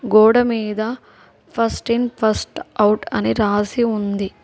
గోడ మీద first in first out అని రాసి ఉంది.